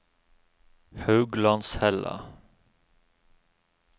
Hauglandshella